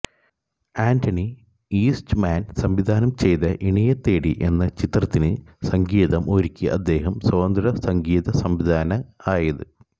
ആന്റണി ഈസ്റ്റ്മാൻ സംവിധാനം ചെയ്ത ഇണയെത്തേടി എന്ന ചിത്രത്തിന് സംഗീതം ഒരുക്കി അദ്ദേഹം സ്വതന്ത്ര സംഗീത സംവിധായകനായത്